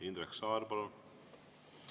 Indrek Saar, palun!